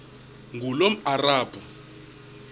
ngulomarabu